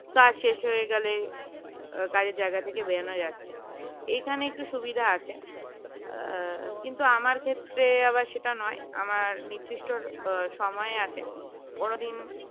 কাজ শেষ হয়ে গেলে কাজের জায়গা থেকে বেরোনো যাচ্ছে এইখানে একটু সুবিধা আছে কিন্তু আমার ক্ষেত্রে আবার সেটা নয় আমার নির্দিষ্ট সময় আছে কোনদিন